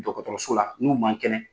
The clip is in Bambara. Dɔgɔtɔrɔso la n'u man kɛnɛ